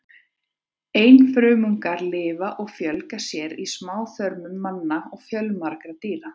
Einfrumungarnir lifa og fjölga sér í smáþörmum manna og fjölmargra dýra.